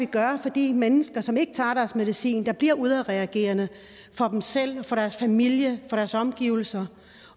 gøre for de mennesker som ikke tager deres medicin og bliver udadreagerende og selv for deres familie for deres omgivelser